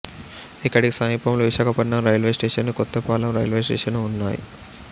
ఇక్కడికి సమీపంలో Visakhapatnam railway station Kothapalem railway station ఉన్నాయి